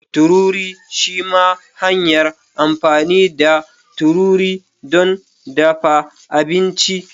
Tururi shima hanyar amfani da tururi don dafa abinci.